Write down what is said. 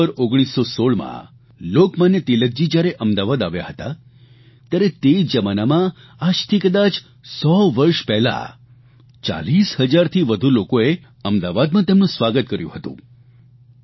October 1916માં લોકમાન્ય તિલકજી જ્યારે અમદાવાદ આવ્યા ત્યારે તે જમાનામાં આજથી કદાચ 100 વર્ષ પહેલાં 40 હજારથી વધુ લોકોએ અમદાવાદમાં તેમનું સ્વાગત કર્યું હતું